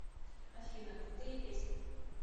афина крутые песни